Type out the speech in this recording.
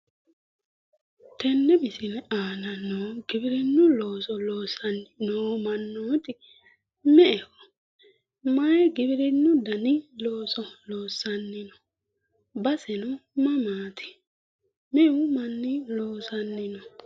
Tenne misile aana noo giwirinnu looso loonsanni noo mannooti me"eho? Mayi giwirinnu dani looso loossanni no? Baseno mamaati? Meu manni loosanni no?